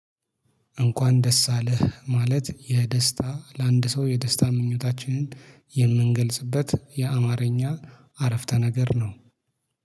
እንኳን ደስ አለህ ማለት የደስታ ለአንድ ሰው የደስታ ምኞታችንን የምንገልጽበት የአማርኛ አረፍተ ነገር ነው